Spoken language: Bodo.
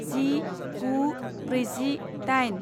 जि गु ब्रैजि दाइन